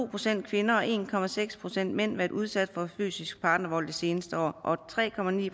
procent kvinder og en procent mænd været udsat for fysisk partnervold det seneste år og tre